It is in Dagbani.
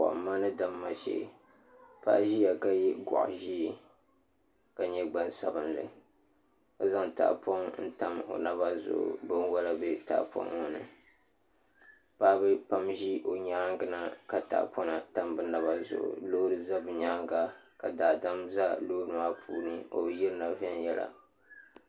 Kɔhimma ni damma shɛ paɣa ziya ka yiɛ gɔɣi zɛɛ ka yɛ gbansabinli ka zaŋ tahipɔŋ n tam o naba zuɣu ka bin wola bɛ tahipɔŋ ŋɔ ni paɣiba pam zi o yɛanga na ka tahipɔŋ tam bi naba zuɣu loori za bi yɛanga ka daadam za loori maa puuni o bi yirina viɛnyɛla.